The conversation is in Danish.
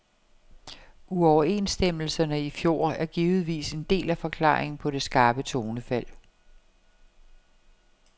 Uoverenstemmelserne i fjor er givetvis en del af forklaringen på det skarpe tonefald.